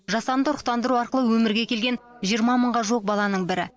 жасанды ұрықтандыру арқылы өмірге келген жиырма мыңға жуық баланың бірі